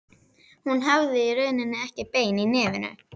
Hún hafði í rauninni ekkert bein í nefinu.